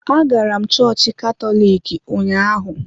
Agara m chọọchị Katọlik ụnyaahụ.